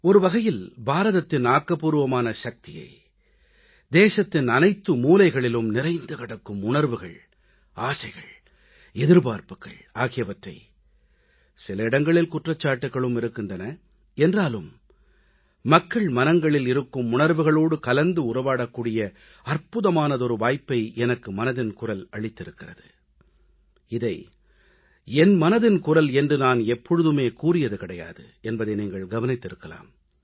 ஒருவகையில் பாரதத்தின் ஆக்கப்பூர்வமான சக்தியை தேசத்தின் அனைத்து மூலைகளிலும் நிறைந்து கிடக்கும் உணர்வுகள் ஆசைகள் எதிர்பார்ப்புகள் ஆகியவற்றை சில இடங்களில் குற்றச்சாட்டுகளும் இருக்கின்றன என்றாலும் மக்கள் மனங்களில் இருக்கும் உணர்வுகளோடு கலந்து உறவாடக் கூடிய அற்புதமான வாய்ப்பை எனக்கு மனதின் குரல் அளித்திருக்கிறது இதை என் மனதின் குரல் என்று நான் எப்போதுமே கூறியது கிடையாது என்பதை நீங்கள் கவனித்திருக்கலாம்